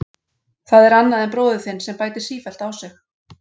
Það er annað en bróðir þinn sem bætir sífellt á sig.